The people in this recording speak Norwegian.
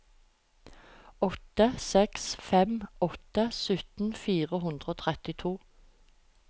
åtte seks fem åtte sytten fire hundre og trettito